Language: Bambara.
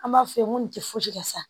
An b'a f'u ye ko nin tɛ fosi ka sa